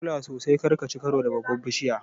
Ka kula sosai kar kaci karo da babbar bishiyar.